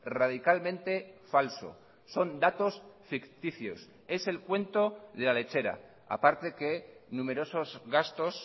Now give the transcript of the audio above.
radicalmente falso son datos ficticios es el cuento de la lechera aparte que numerosos gastos